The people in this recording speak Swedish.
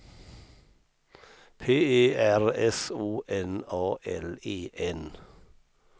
P E R S O N A L E N